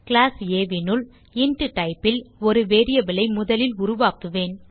class ஆ னுள் int typeல் ஒரு வேரியபிள் ஐ முதலில் உருவாக்குவேன்